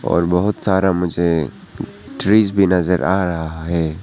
और बहुत सारा मुझे ट्रीज भी नजर आ रहा है।